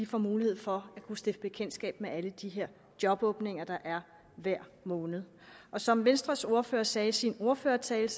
får mulighed for at stifte bekendtskab med alle de her jobåbninger der er hver måned og som venstres ordfører sagde i sin ordførertale